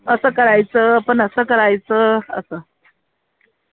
असं करायचं, पण असं करायचं असं